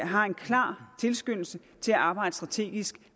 har en klar tilskyndelse til at arbejde strategisk